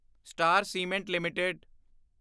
star cement LTD